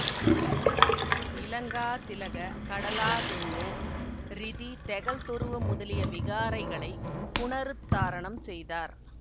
இலங்காதிலக கடலாதெனிய ரிதி தெகல்தொருவ முதலிய விகாரைகளைப் புனருத்தாரணம் செய்தார்